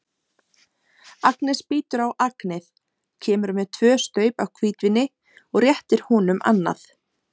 Agnes bítur á agnið, kemur með tvö staup af hvítvíni og réttir honum annað.